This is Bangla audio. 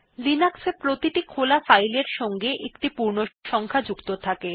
লিনাক্স এ প্রত্যেক খোলা ফাইল এর সঙ্গে একটি পূর্ণসংখ্যা সংখ্যা যুক্ত থাকে